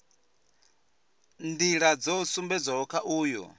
nḓila dzo sumbedzwaho kha uyu